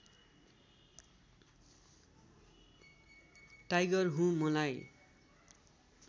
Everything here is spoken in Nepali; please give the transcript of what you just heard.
टाइगर हुँ मलाई